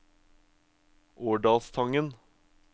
Årdalstangen